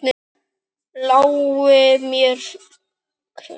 Lái mér, hver sem vill.